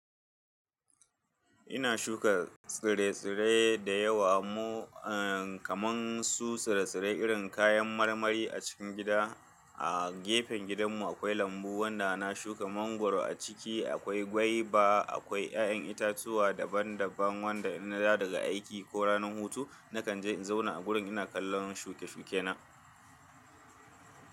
Ina shuka tsire-tsire da yawa mu, eh, kamar su tsire-tsire irin kayan marmari a cikin gida. A gefen gidanmu akwai lambu wanda na shuka mangwaro a ciki. Akwai gwaiba, akwai 'ya'yan itatuwa daban-daban wanda idan na dawo daga aiki ko ranar hutu nakan je in zauna a wurin ina kallon shuke-shuke na.